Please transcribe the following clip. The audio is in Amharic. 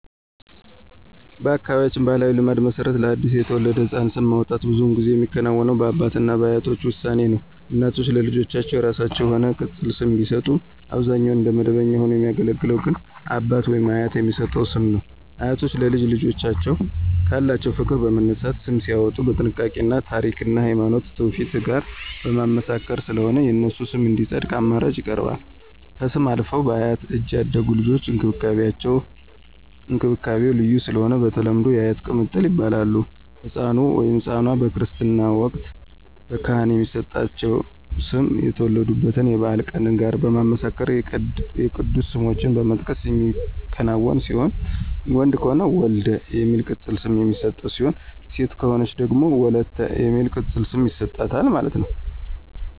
በአካባቢያችን ባሕላዊ ልማድ መሰረት ለአዲስ የተወለደ ሕፃን ስም ማውጣት ብዙውን ጊዜ የሚከናወነው በአባት እና በአያቶች ውሳኔ ነው። እናቶች ለልጆቻቸው የራሳቸው የሆነ ቅፅል ስም ቢሰጡም አብዛኛውን እንደ መደበኛ ሆኖ የሚያገለግል ግን አባት/አያት የሚሰጠው ስም ነው። አያቶች ለልጅ ልጆቻቸው ካላቸው ፍቅር በመነሳት ስም ሲያዎጡ በጥንቃቄ እና ታሪክን እና ሀይማኖታዊ ትውፊት ጋር በማመሳከር ስለሆነ የነሱ ስም እንዲፀድቅ አማራጭ ይቀርባል። ከስም አልፈው በአያት እጅ ያደጉ ልጆች እንክብካቤው ልዩ ስለሆነ በተለምዶ *የአያት ቅምጥል ይባላሉ*።ህፃኑ/ኗ በክርስትና ወቅት በካህናት የሚሰጣቸው ስም ከተወለዱበት የበዓላት ቀን ጋር በማመሳከር የቅዱሳን ስሞችን በመጥቀስ የሚከናወን ሲሆን ወንድ ከሆነ *ወልደ* የሚል ቅፅል ስም የሚሰጥ ሲሆን ሴት ከሆነች ደግሞ *ወለተ*የሚል ቅፅል ስም ይሰጣታል ማለት ነው